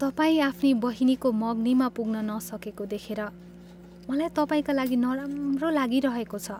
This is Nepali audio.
तपाईँ आफ्नी बहिनीको मगनीमा पुग्न नसकेको देखेर मलाई तपाईँका लागि नराम्रो लागिरहेको छ।